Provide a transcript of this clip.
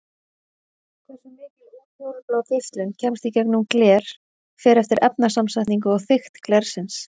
Hversu mikil útfjólublá geislun kemst í gegnum gler fer eftir efnasamsetningu og þykkt glersins.